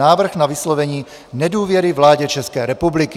Návrh na vyslovení nedůvěry vládě České republiky